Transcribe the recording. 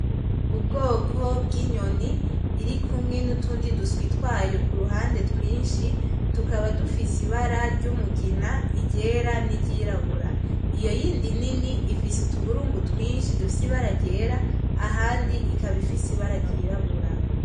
Ubwoko bw'inyoni, irikumwe n'utundi duswi twayo ku ruhande twinshi tukaba dufise ibara ry'umugina, iryera n'iryirabura. Iyo yindi nini ifise utuburungu twinshi dufise ibara ryera, ahandi ikaba ifise ibara ryirabura.